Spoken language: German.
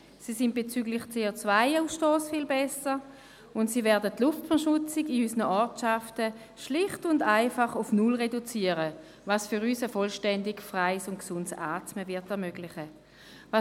Sie sind bezüglich des CO-Ausstosses viel besser, und sie werden die Luftverschmutzung in unseren Ortschaften schlicht und einfach auf null reduzieren, was uns ein vollständig freies und gesundes Atmen ermöglichen wird.